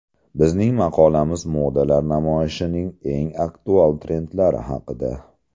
Bizning maqolamiz modalar namoyishining eng aktual trendlari haqida.